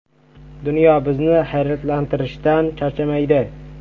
Dunyo bizni hayratlantirishdan charchamaydi.